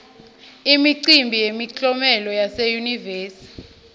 imicimbi yemiklomelo yase yunivesi